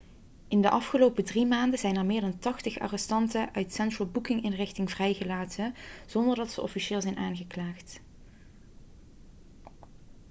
in de afgelopen 3 maanden zijn er meer dan 80 arrestanten uit de central booking-inrichting vrijgelaten zonder dat ze officieel zijn aangeklaagd